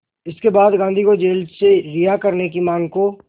इसके बाद गांधी को जेल से रिहा करने की मांग को